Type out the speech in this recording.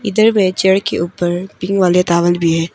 इधर भी चेयर के ऊपर पिंक वाले टॉवल भी है।